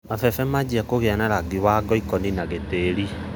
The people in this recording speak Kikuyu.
Mabebe mambia kũgĩa na rangi wa ngoikoni na gĩtĩri.